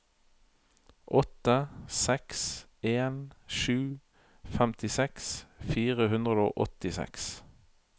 åtte seks en sju femtiseks fire hundre og åttiseks